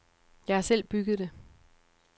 Jeg har selv bygget det.